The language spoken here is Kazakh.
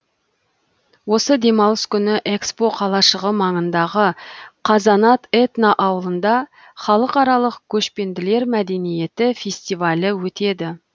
осы демалыс күні экспо қалашығы маңындағы қазанат этноауылында халықаралық көшпенділер мәдениеті фестивалі өтеді